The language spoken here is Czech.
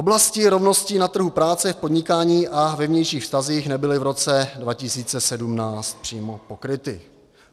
Oblasti rovnosti na trhu práce a podnikání a ve vnějších vztazích nebyly v roce 2017 přímo pokryty.